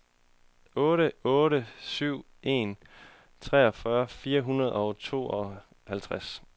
otte otte syv en treogfyrre fire hundrede og tooghalvtreds